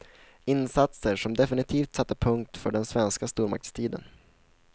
Insatser som definitivt satte punkt för den svenska stormaktstiden.